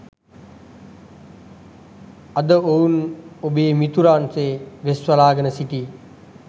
අද ඔවුන් ඔබේ මිතුරන් සේ වෙස්වලාගෙන සිට